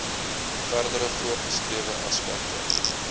verdere voorgeskrewe aspekte